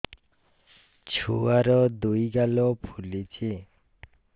ଛୁଆର୍ ଦୁଇ ଗାଲ ଫୁଲିଚି